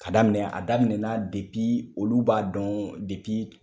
Ka daminɛ a daminɛ na depi olu b'a dɔn depi